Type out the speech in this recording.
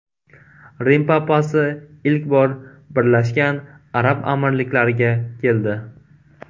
Rim papasi ilk bor Birlashgan Arab Amirliklariga keldi.